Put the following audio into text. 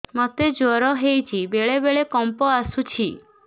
ମୋତେ ଜ୍ୱର ହେଇଚି ବେଳେ ବେଳେ କମ୍ପ ଆସୁଛି